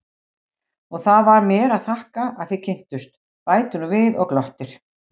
Og það var mér að þakka að þið kynntust, bætir hún við og glottir.